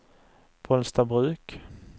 Bollstabruk